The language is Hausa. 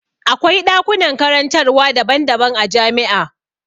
Akwai ɗakunan karantarwa daban daban a jami'a.